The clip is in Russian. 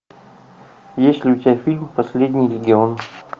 есть ли у тебя фильм последний легион